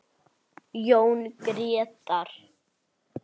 Jón Grétar.